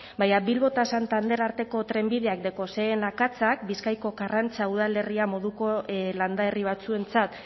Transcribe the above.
baina bilbo eta santander arteko trenbideak dekozen akatsak bizkaiko karrantza udalerria moduko landa herri batzuentzat